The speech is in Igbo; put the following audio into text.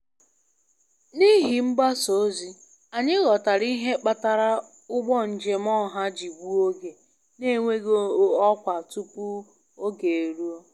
N'ihi mgbasa ozi, anyị ghọtara ihe kpatara ụgbọ njem ọha ji gbuo oge na-enweghị ọkwa tupu oge e ruo.